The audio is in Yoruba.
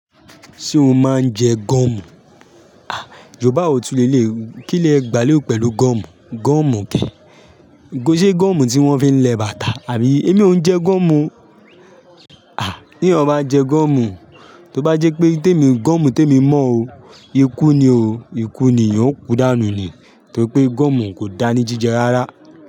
Ṣé o máa ń jẹ gọ́mù? À, Yorùbá wò tún lè lè. Kí lẹ gbà lé pẹ̀lú gọ́mù? Gọ́mù ke. N kọ́ ṣé gọ́mù tí wọ́n fi ń lẹ bàtà àbí? Èmi ò ń jẹ gọ́mù o. À, ní ọ bá jẹ gọ́mù, tó bá jẹ́ pé témì gọ́mù témì mọ́ o, ikú ni o. Ikú ni, ì yóò kú dànù ni. Nítorí pé gọ́mù kò dáa ní jíjẹ rárá.